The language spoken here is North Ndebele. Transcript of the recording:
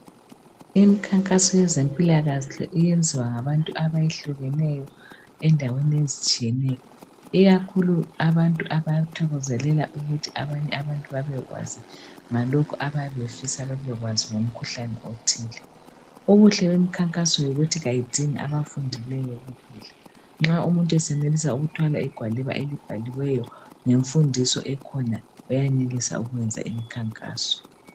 Imkhankaso yezempilakahle iyenziwa ngabantu abayehlukeneyo endaweni ezitshiyeneyo. Ikakhulu abantu abathokozelela ukuthi abanye abantu babekwazi ngalokho ababefisa babekwazi ngomkhuhlane othile. Ubuhle bemkhankaso yikuthi kayidingi abafundileyo kuphela. Nxa umuntu esenelisa ukuthwala igwaliba elibhaliweyo ngemfundiso ekhona, uyayenelisa ukwenza imkhankaso.